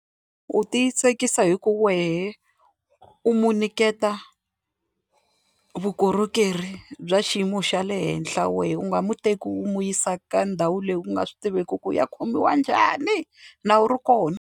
U titsakisa hi ku wehe u n'wi niketa vukorhokeri bya xiyimo xa le henhla wehe u nga muteki u nwi yisa ka ndhawu leyi u nga swi tiviki ku u ya khomiwa njhani na wena u ri kona.